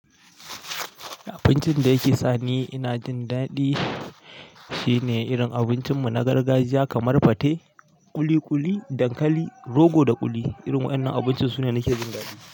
Abincin da yake sa ni ina jin daɗi shine irin abincin mu na gargajiya kamar fate, ƙuli ƙuli, dankali, rogo da ƙuli. Irin wayannan abinci sune nake jin daɗi.